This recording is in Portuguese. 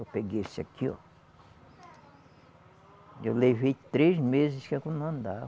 Eu peguei esse aqui, ó. Eu levei três meses que eu não andava.